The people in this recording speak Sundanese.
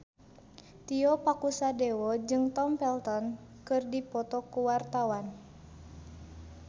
Tio Pakusadewo jeung Tom Felton keur dipoto ku wartawan